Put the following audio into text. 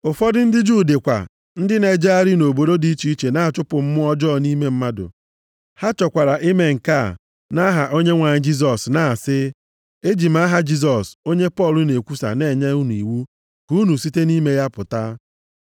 Ụfọdụ ndị Juu dịkwa ndị na-ejegharị nʼobodo dị iche iche na-achụpụ mmụọ ọjọọ nʼime mmadụ. Ha chọkwara ime nke a nʼaha Onyenwe anyị Jisọs na-asị, “E ji m aha Jisọs, onye Pọl na-ekwusa na-enye unu iwu ka unu site nʼime ya pụta.”